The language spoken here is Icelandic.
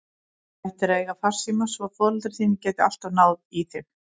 Þú ættir að eiga farsíma svo foreldrar þínir geti alltaf náð í þig.